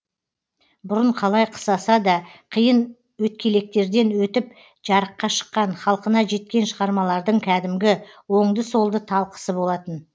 бұрын қалай қысаса да қиын өткелектерден өтіп жарыққа шыққан халқына жеткен шығармалардың кәдімгі оңды солды талқысы болатын